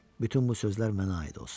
Bütün bu sözlər mənə aid olsun.